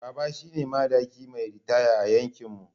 Baba shine madaki mai ritaya a yankinmu.